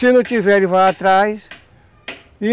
Se não tiver, ele vai lá atrás.